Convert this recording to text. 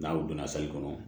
N'aw donna sali kɔnɔ